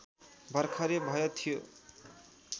भर्खरै भए थियो